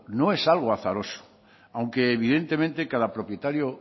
no es algo azaroso aunque evidentemente cada propietario